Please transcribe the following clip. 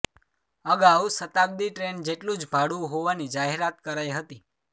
અગાઉ શતાબ્દી ટ્રેન જેટલું જ ભાડું હોવાની જાહેરાત કરાઇ હતી